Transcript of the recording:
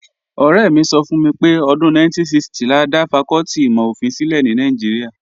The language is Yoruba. Ọ̀rẹ́ mi sọ fún mi pé ọdún 1960 la dá fakọ́tì ìmọ̀-ofin sílẹ̀ ní Nàìjíríà